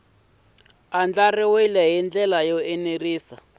andlariwile hi ndlela yo enerisa